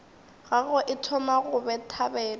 gagwe e thoma go bethabetha